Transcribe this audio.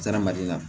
Zaramaden na